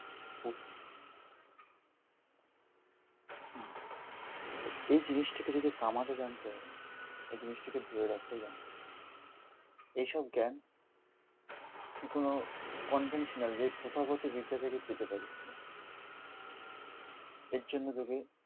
এই জিনিসটাকে যদি কামাতে জানতে হয়, এই জিনিসটাকে ধরে রাখাও জানতে হবে। এইসব জ্ঞান তুই কোনো কনভেন্সানাল যে প্রথাগত বিদ্যা থেকে পেতে পারিস। এর জন্য তোকে